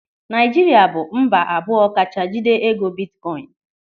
Naijiria bụ mba abụọ kacha jide ego bitkoin.